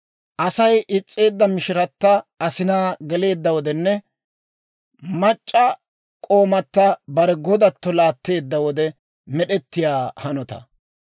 asay is's'eedda mishirata asinaa geleedda wodenne, mac'c'a k'oomata bare godatto laatteedda wode med'ettiyaa hanotaa.